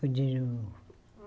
Continuo.